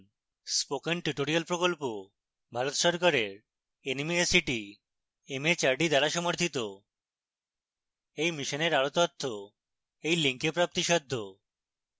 spoken tutorial প্রকল্প ভারত সরকারের nmeict mhrd দ্বারা সমর্থিত এই মিশনের আরো তথ্য এই লিঙ্কে প্রাপ্তিসাদ্ধ